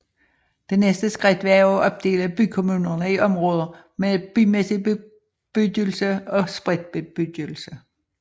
Det næste skridt var at opdele bykommunerne i områder med bymæssig bebyggelse og spredt bebyggelse